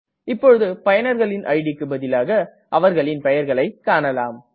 இப்பொழுது பயனர்களின் idக்கு பதிலாக அவர்களின் பெயர்களை காணலாம்